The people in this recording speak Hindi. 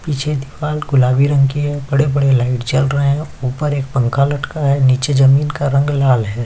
पीछे दीवार गुलाबी रंग की है बड़े - बड़े लाइट जल रहे हैं ऊपर एक पंखा लटका है नीचे जमीन का रंग लाल है।